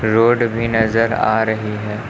Road भी नजर आ रही है।